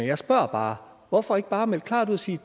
jeg spørger bare hvorfor ikke bare melde klart ud og sige